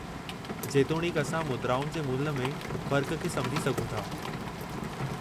जेतोणीकि, असां मुद्राउनि जे मुल्हु में फ़र्क़ु खे सम्झी सघूं था।